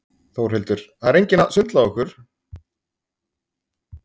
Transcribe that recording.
Þórhildur: Það er enginn að svindla á ykkur?